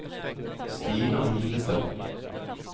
Stina Hillestad